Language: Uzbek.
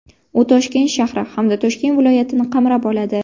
U Toshkent shahri hamda Toshkent viloyatini qamrab oladi.